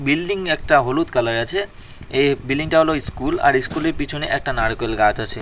Building একটা হলুদ কালারের আছে এ বিল্ডিংটা হল ইস্কুল আর ইস্কুলের পিছনে একটা নারকেল গাছ আছে।